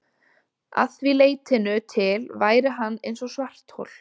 Að því leytinu til væri hann eins og svarthol.